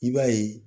I b'a ye